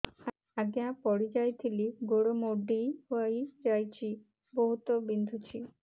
ଆଜ୍ଞା ପଡିଯାଇଥିଲି ଗୋଡ଼ ମୋଡ଼ି ହାଇଯାଇଛି ବହୁତ ବିନ୍ଧୁଛି